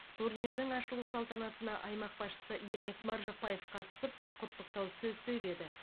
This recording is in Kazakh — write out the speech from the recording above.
турнирдің ашылу салтанатына аймақ басшысы ермек маржықпаев қатысып құттықтау сөз сөйледі